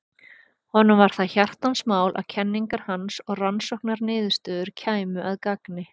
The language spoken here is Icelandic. honum var það hjartans mál að kenningar hans og rannsóknarniðurstöður kæmu að gagni